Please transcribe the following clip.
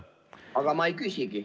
Aga ma ei küsigi.